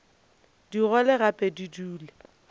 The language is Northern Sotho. di gole gape di dule